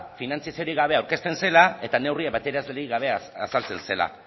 finantzaziorik gabe aurkezten zela eta neurri azaltzen zela